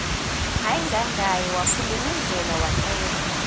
ayingangaye waphulukundlela wacela